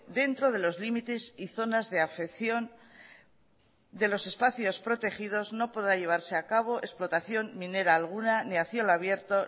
dentro de los límites y zonas de afección de los espacios protegidos no podrá llevarse a cabo explotación minera alguna ni a cielo abierto